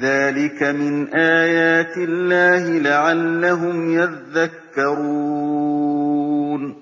ذَٰلِكَ مِنْ آيَاتِ اللَّهِ لَعَلَّهُمْ يَذَّكَّرُونَ